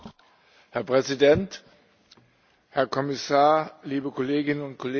Herr Präsident, Herr Kommissar, liebe Kolleginnen und Kollegen!